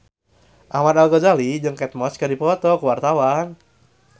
Ahmad Al-Ghazali jeung Kate Moss keur dipoto ku wartawan